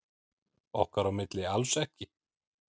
Okkar á milli alls ekki.